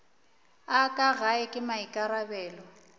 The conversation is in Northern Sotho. a ka gae ke maikarabelo